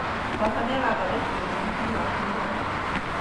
Baba nĩarathondekire mũithikiri wakwa ira